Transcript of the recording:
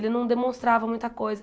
Ele não demonstrava muita coisa.